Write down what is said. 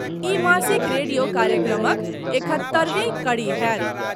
ई मासिक रेडियो कार्यक्रमक एकहत्तरिवीं कड़ी होयत।